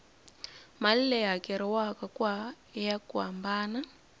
mali leyi hakeriwaku ya hambana